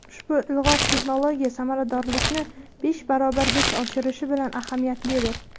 Ushbu ilg‘or texnologiya samaradorlikni besh barobargacha oshirishi bilan ahamiyatlidir.